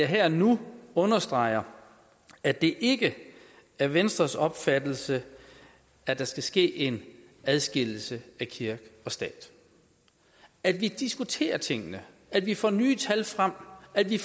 her og nu understrege at det ikke er venstres opfattelse at der skal ske en adskillelse af kirke og stat at vi diskuterer tingene at vi får nye tal frem at vi